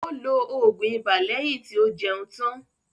Ó lọ oògùn ibà lẹ́yìn tí ó jẹun tán.